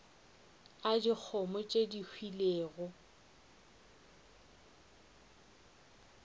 a dikgomo tše di hwilego